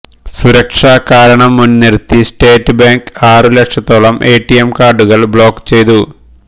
സുരക്ഷാ കാരണം മുന്നിര്ത്തി സ്റ്റേറ്റ് ബാങ്ക് ആറു ലക്ഷത്തോളം എടിഎം കാര്ഡുകള് ബ്ലോക് ചെയ്തു